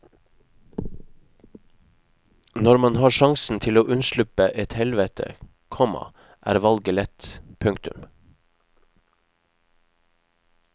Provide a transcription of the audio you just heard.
Når man har sjansen til å unnslippe et helvete, komma er valget lett. punktum